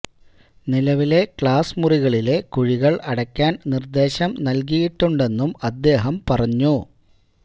നിലവിലെ ക്ലാസ് മുറികളിലെ കുഴികള് അടയ്ക്കാന് നിര്ദേശം നല്കിയിട്ടുണ്ടെന്നും അദേഹം പറഞ്ഞു